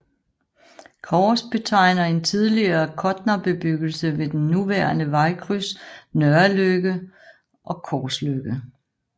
Kors betegner en tidligere kådnerbebyggelse ved den nuværende vejkryds Nørreløkke og Korsløkke